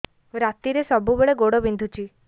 ରାତିରେ ସବୁବେଳେ ଗୋଡ ବିନ୍ଧୁଛି